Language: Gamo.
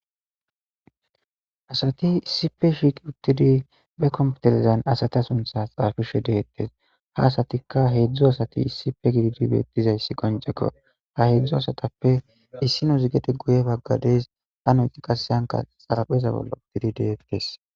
asati issipe shiiqi uttidi be kompetelezan asata sunthas xaafishe deettes ha asatikka heedzdzu asati issipe gididi beettizayssi qonjeko ha heedzdzu asatappe issi no zigede guye baggadees ha noyxi qasseyanka xalapheza bolla uttidi deettes